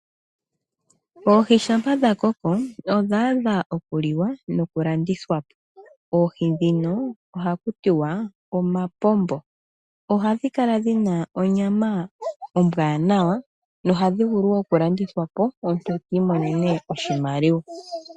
Oohi shampa dha koko odhaadha oku liwa noku landithwa po . Oohi ndhino ohakutiwa omapombo . Ohadhi kala dhina onyama ombwanawa nohadhi vulu woo oku landithwa po omuntu etiimonene oshimaliwa.